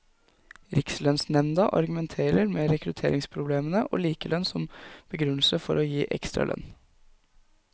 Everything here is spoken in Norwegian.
Rikslønnsnemnda argumenterer med rekrutteringsproblemene og likelønn som begrunnelsen for å gi ekstra lønn.